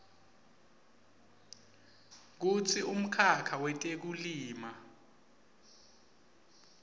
kutsi umkhakha wetekulima